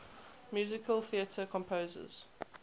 musical theatre composers